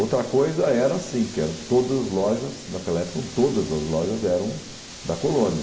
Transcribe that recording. Outra coisa era assim, que eram todas as lojas, naquela época, todas as lojas eram da colônia.